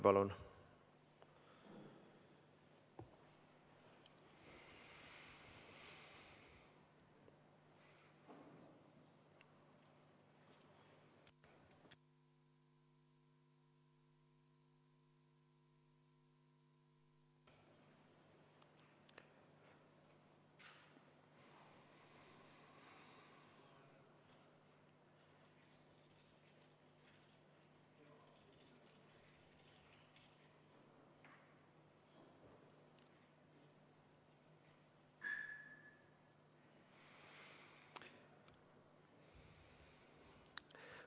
Palun!